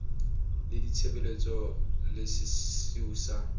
la ditshebeletso le sesiu sa